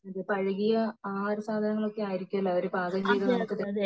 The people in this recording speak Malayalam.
പഴകിയ ആഹാര സാധനങ്ങൾ ഒക്കെ ആയിരിക്കുമല്ലേ അവർ പാകം ചെയ്ത നമുക്ക് തരുന്നത്